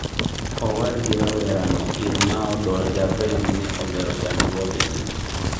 Owad gi rawera no Irmao do Javem ne olero chandruoge gi